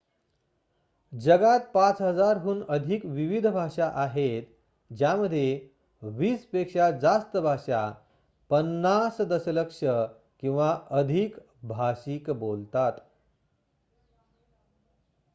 जगात 5,000 हून अधिक विविध भाषा आहेत ज्यामध्ये वीस पेक्षा जास्त भाषा 50 दशलक्ष किंवा अधिक भाषिक बोलतात